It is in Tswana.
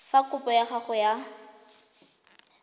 fa kopo ya gago ya